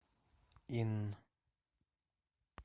инн